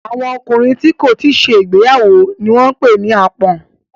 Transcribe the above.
Àwọn ọkùnrin tí kò tíì ṣe ìgbéyàwó ni wọ́n ń pè ní àpọ́n.